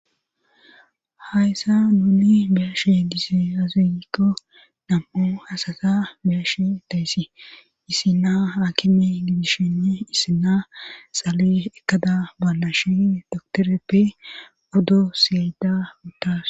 hayssa nuni biyashe dizy azekko nam7o hasata biyashe dayssi issina hakinne gidishene issina xaale ekkada balashi doktoreppe guddo siyyeda buttas